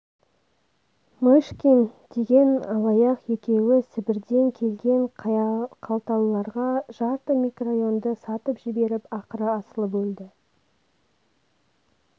мышкин деген алаяқ екеуі сібірден келген қалталыларға жарты микрорайонды сатып жіберіп ақыры асылып өлді